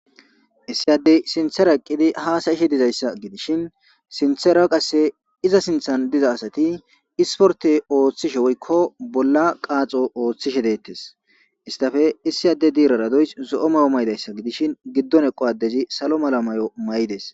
Issi addey sinththera eqqidi hasa'she dizayssa gidishin sinththera qasse iza sinththan diza asati isportte woykko bolla qaaxo oothishe deetesi. Hessappe issi adde dirara doyssi zo'o mayo mayidayssa gidishin giddon eqqo adezi salo mala mayo mayideesi.